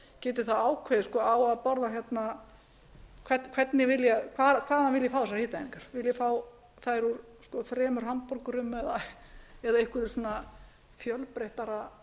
fimm hundruð til tvö þúsund sjö hundruð geti þá ákveðið hvaðan viljið þið fá þessar hitaeiningar viljið þið fá þær úr þremur hamborgurum eða einhverju svona fjölbreyttara